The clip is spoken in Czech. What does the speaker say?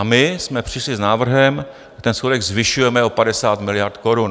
A my jsme přišli s návrhem, že ten schodek zvyšujeme o 50 miliard korun.